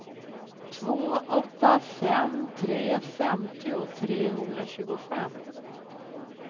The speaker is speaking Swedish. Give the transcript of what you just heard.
två åtta fem tre femtio trehundratjugofem